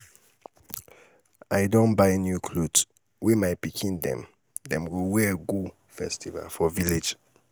i don buy new clot wey my pikin dem dem go wear go festival for village.